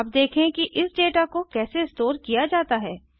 अब देखें कि इस डेटा को कैसे स्टोर किया जाता है